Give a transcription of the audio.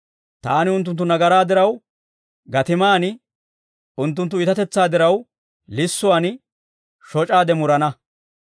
taani unttunttu nagaraa diraw gatiman, unttunttu iitatetsaa diraw, lissuwaan, shoc'aade murana.